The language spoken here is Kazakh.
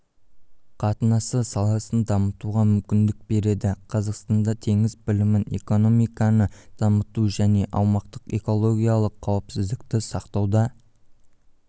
қатынасы саласын дамытуға мүмкіндік береді қазақстанда теңіз білімін экономиканы дамыту және аумақтың экологиялық қауіпсіздікті сақтауда